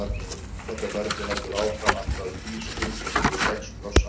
Þetta ferli heldur áfram allt að Fís-dúr, sem hefur sex krossa.